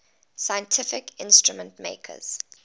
scientific instrument makers